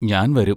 ഞാൻ വരും.